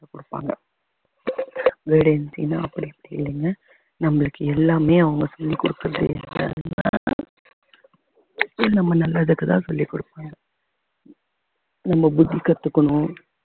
கொடுப்பாங்க ன்னா அப்படி இப்படின்னு நம்மளுக்கு எல்லாமே அவங்க சொல்லிக் கொடுக்கிறது எப்படி நம்ம நல்லதுக்குத்தான் சொல்லிக் கொடுப்போம் நம்ம புத்தி கத்துக்கணும்